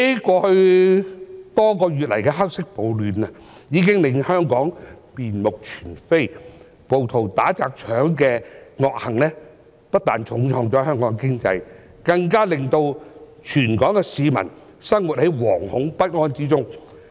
過去多月來的"黑色暴亂"，已經令香港面目全非。暴徒打、砸、搶的惡行，不但重創香港經濟，更令全港市民生活在惶恐不安之中。